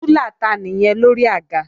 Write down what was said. Rúlà ta nìyẹn lórí àga?